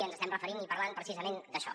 ens estem referint i parlem precisament d’això